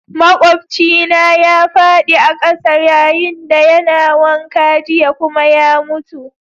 Maƙwabcina ya fadi a'kasa yayin da yana wanka jiya kuma ya mutu.